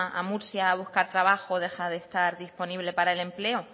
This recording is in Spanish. a murcia a buscar trabajo deja de estar disponible para el empleo